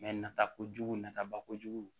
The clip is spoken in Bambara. nata kojugu nataba kojugu